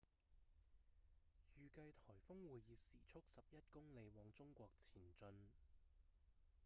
預計颱風會以時速11公里往中國前進